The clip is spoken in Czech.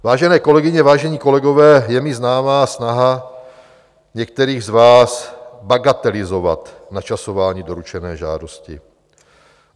Vážené kolegyně, vážení kolegové, je mi známa i snaha některých z vás bagatelizovat načasování doručené žádosti.